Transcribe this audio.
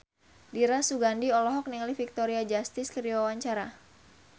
Dira Sugandi olohok ningali Victoria Justice keur diwawancara